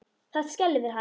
Það skelfir hann.